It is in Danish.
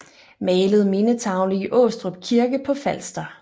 Malet mindetavle i Aastrup Kirke på Falster